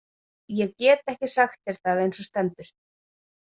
Ég get ekki sagt þér það eins og stendur.